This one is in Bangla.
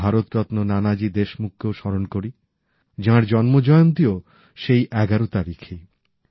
আমরা ভারতরত্ন নানাজি দেশমুখ কেও স্মরণ করি যার জন্ম জয়ন্তী ও সেই ১১ তারিখেই